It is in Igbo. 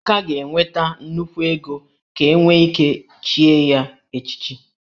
Emeka ga-enweta nnukwu ego ka enwe ike ichi ye echichi